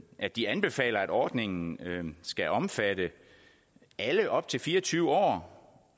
at de anbefaler at ordningen skal omfatte alle op til fire og tyve år